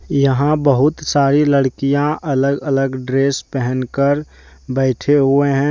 यहां बहुत सारी लड़कियां अलग अलग ड्रेस पहन कर बैठे हुए हैं।